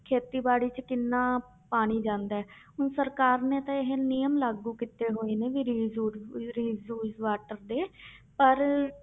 ਖੇਤੀਬਾੜੀ 'ਚ ਕਿੰਨਾ ਪਾਣੀ ਜਾਂਦਾ ਹੈ ਹੁਣ ਸਰਕਾਰ ਨੇ ਤਾਂ ਇਹ ਨਿਯਮ ਲਾਗੂ ਕੀਤੇ ਹੋਏ ਨੇ ਵੀ reuse reuse water ਦੇ ਪਰ